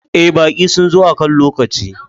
Eh, baƙi sun zo akan lokaci.